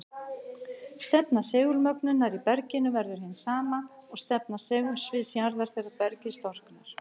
Stefna segulmögnunar í berginu verður hin sama og stefna segulsviðs jarðar þegar bergið storknar.